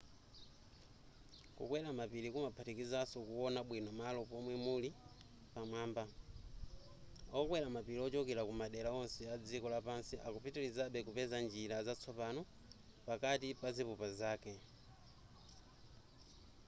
kukwera mapiri kumaphatikizaso kuwona bwino malo pomwe muli pamwamba okwera mapiri ochokera kumadera onse adziko lapansi akupitilizabe kupeza njira zatsopano pakati pazipupa zake